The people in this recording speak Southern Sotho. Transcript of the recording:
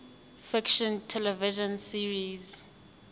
fiction television series